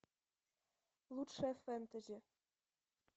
лучшее фэнтези